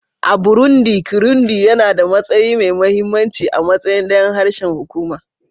A Burundi, Kirundi yana da matsayi mai mahimmanci a matsayin ɗayan harshen hukuma